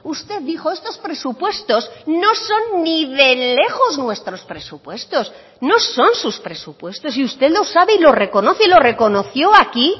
usted dijo estos presupuestos no son ni de lejos nuestros presupuestos no son sus presupuestos y usted lo sabe y lo reconoce y lo reconoció aquí